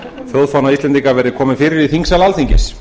þjóðfána íslendinga verði komið fyrir í þingsal alþingis